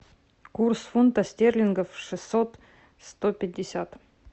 курс фунта стерлингов шестьсот сто пятьдесят